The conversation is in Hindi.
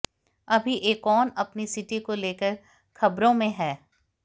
अभी एकॉन अपनी सिटी को लेकर खबरों में हैं